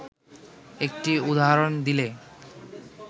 একটি উদাহরণ দিলে